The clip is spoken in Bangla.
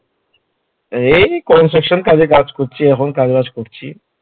এই Construction কাজে কাজ করছি, এখন কাজ- বাজ করছি